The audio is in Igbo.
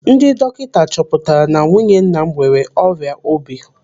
Ndị dọkịta chọpụtara na nwunye nna m nwere ọrịa obi.